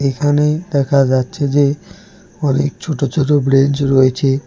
এখানে দেখা যাচ্ছে যে অনেক ছোট ছোট ব্রেঞ্চ রয়েছে।